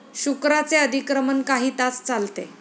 शुक्राचे अधिक्रमण काही तास चालते.